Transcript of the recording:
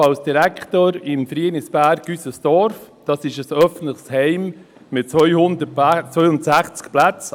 Zudem arbeite ich als Direktor des Wohn- und Pflegeheims Frienisberg «Üses Dorf», ein Heim mit 262 Plätzen.